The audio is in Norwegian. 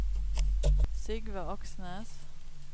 Sigve Aksnes